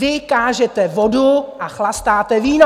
Vy kážete vodu a chlastáte víno!